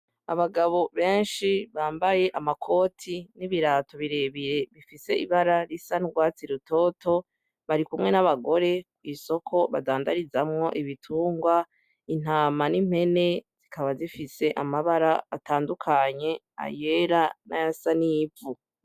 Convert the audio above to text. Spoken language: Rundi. Abagabo benshi bambaye amakoti n'ibirato birebire bifise ibara risa n'urwatsi rutoto, barikumwe n'abagore mw'isoko badandarizamwo ibitungwa, hama n'impene zikaba zifise amabara atandukanye, ayera n'ayasa n'ivu.